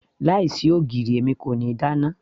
láì sí ogiri èmi kò ní dáná